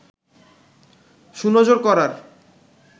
সুনজর করার